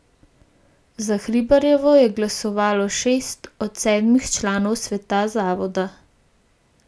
Za Hribarjevo je glasovalo šest od sedmih članov sveta zavoda.